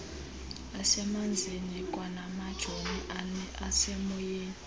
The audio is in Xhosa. asemanzini kwanamajoni asemoyeni